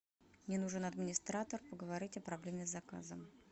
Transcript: мне нужен администратор поговорить о проблеме с заказом